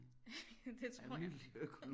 Ja det tror jeg